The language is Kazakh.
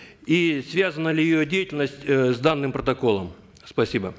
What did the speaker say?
и связана ли ее деятельность э с данным протоколом спасибо